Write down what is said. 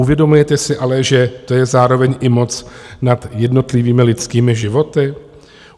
Uvědomujete si ale, že to je zároveň i moc nad jednotlivými lidskými životy?